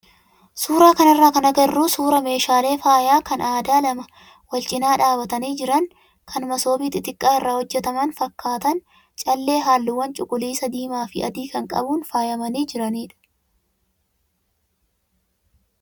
suuraa kanarraa kan agarru suuraa meeshaalee faayaa kan aadaa lama wal cinaa dhaabbatanii jiran kan masoobii xixiqqaa irraa hojjataman fakkaatan callee halluuwwan cuquliisa, diimaa fi adii kan qabuun faayamanii jiranidha.